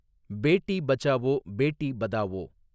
Beti Bachao Beti Padhao